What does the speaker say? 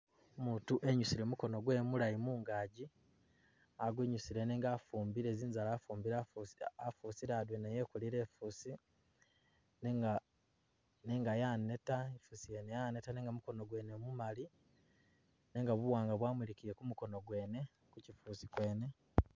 Umuutu e'nyusile mukoono gwe mulayi mungaji, a'gwinyusile nenga afumbile zinzala, afumbile afusile afusile adwena yekolile i'fusi nenga.. nenga yaneta i'fusi yene yaneta mukoono mwene mumaali nenga buwaanga bwamulikile gumukoono gwene kuchifusi gwene